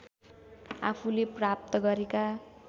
आफूले प्राप्त गरेका